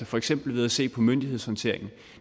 for eksempel ved at se på myndighedshåndteringen